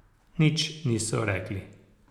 Nič niso rekli.